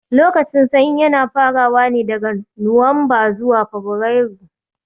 Lokacin sanyi yana farawa ne daga Nuwamba zuwa Fabarairu